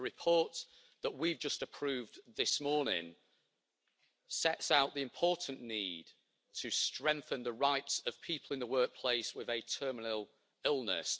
The report that we have just approved this morning sets out the important need to strengthen the rights of people in the workplace with a terminal illness.